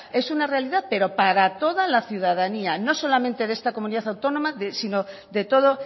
es una realidad pero para toda la ciudadanía no solamente de esta comunidad autónoma sino de todo